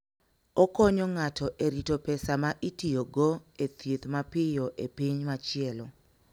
Okonyo ng'ato e rito pesa ma itiyogo e thieth mapiyo e piny machielo.